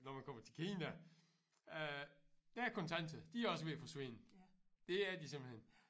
Når man kommer til Kina øh der er kontanter de er også ved at forsvinde det er de simpelthen